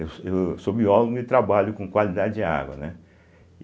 Eu so eu sou biólogo e trabalho com qualidade de água, né?